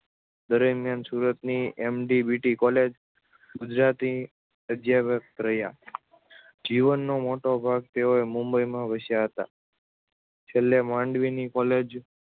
દરમ્યાન સુરતની MTB college Gujarati અધ્યાપક રહ્યા જીવનો મોટો ભાગ તેઓએ મુંબઈમાં વસ્યા હતા છેલ્લે માંડવીની કોલેજ